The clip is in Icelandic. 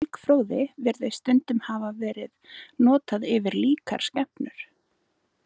Orðið elgfróði virðist stundum hafa verið notað yfir líkar skepnur.